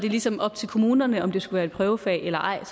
ligesom var op til kommunerne om det skulle være et prøvefag eller ej